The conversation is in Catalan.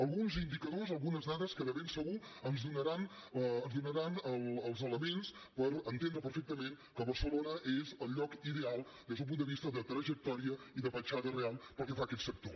alguns indicadors algunes dades que de ben segur ens donaran els elements per entendre perfectament que barcelona és el lloc ideal des d’un punt de vista de trajectòria i de petjada real pel que fa a aquest sector